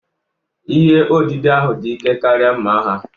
Ihe odide ahụ dị ike karịa mma agha